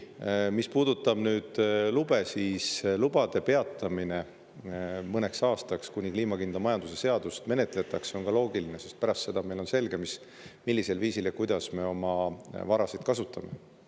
Mis puudutab lube, siis lubade peatamine mõneks aastaks, kuni kliimakindla majanduse seadust menetletakse, on ka loogiline, sest pärast seda on meil selge, millisel viisil ja kuidas me oma varasid kasutame.